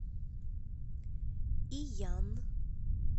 иян